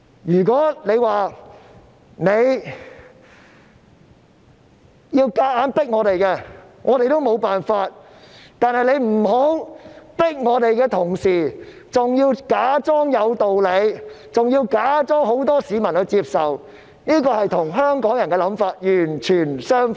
如果它想強迫我們，我們亦沒有辦法，但請不要在強迫我們的同時，還要假裝有道理，假裝有很多市民接受，這與香港人的想法完全相反。